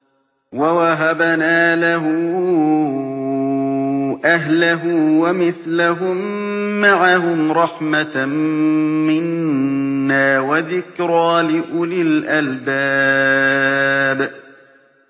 وَوَهَبْنَا لَهُ أَهْلَهُ وَمِثْلَهُم مَّعَهُمْ رَحْمَةً مِّنَّا وَذِكْرَىٰ لِأُولِي الْأَلْبَابِ